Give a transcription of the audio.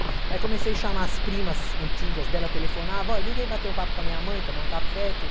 Aí comecei a chamar as primas antigas dela, telefonava, ó, vem bater um papo com a minha mãe, tomar um café, tudo.